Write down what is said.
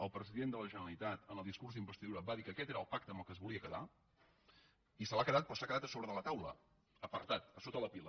el president de la generalitat en el discurs d’investidura va dir que aquest era el pacte amb què es volia quedar i se l’ha quedat però ha quedat a sobre de la taula apartat a sota la pila